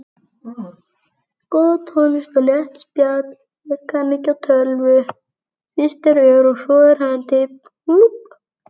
Góð tónlist og létt spjall.